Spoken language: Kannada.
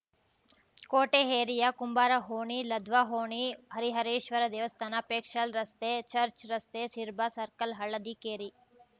ಕೋಟೆ ಏರಿಯ ಕುಂಬಾರ ಓಣಿ ಲದ್ವಾ ಓಣಿ ಹರಿಹರೇಶ್ವರ ದೇವಸ್ಥಾನ ಪೇಕ್ಷಲ್‌ ರಸ್ತೆ ಚರ್ಚ್ ರಸ್ತೆ ಸಿರ್ಬಾ ಸರ್ಕಲ್‌ ಹಳ್ಳದಿ ಕೇರಿ